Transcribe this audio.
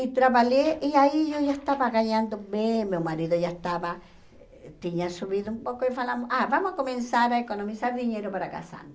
E trabalhei, e aí eu já estava ganhando bem, meu marido já estava, tinha subido um pouco e falamos, ah, vamos começar a economizar dinheiro para casar.